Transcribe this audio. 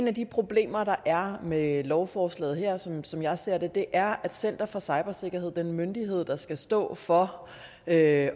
af de problemer der er med lovforslaget her som jeg ser det er at center for cybersikkerhed den myndighed der skal stå for at